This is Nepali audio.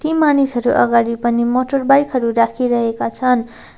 मानिसहरू अगाडि पनि मोटर बाइक हरु राखिरहेका छन्।